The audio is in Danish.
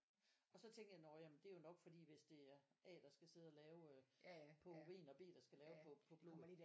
Og så tænkte jeg nå ja det er nok fordi hvis det er A der skal sidde lave øh på urin og B der skal lave på på blod